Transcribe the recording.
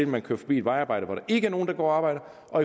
man kører forbi et vejarbejde hvor der ikke er nogen der går og arbejder og